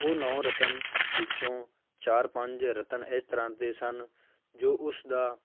ਉਹ ਨੋਂ ਰਤਨ ਵਿੱਚੋਂ ਚਾਰ ਪੰਜ ਰਤਨ ਇਸ ਤਰ੍ਹਾਂ ਦੇ ਸਨ ਜੋ ਉਸਦਾ